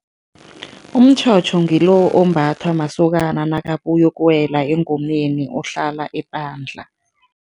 Umtjhotjho ngilo ombathwa masokana nakabuya ukuyokuwela engomeni, ohlala epandla.